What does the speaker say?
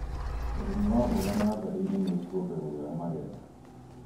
ũrĩmi wa mboga natharĩ-inĩ nĩkuongagĩrĩra magetha